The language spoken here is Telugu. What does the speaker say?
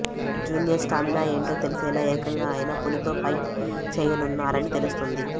జూనియర్ స్టామినా ఏంటో తెలిసేలా ఏకంగా ఆయన పులితో ఫైట్ చేయనున్నారని తెలుస్తోంది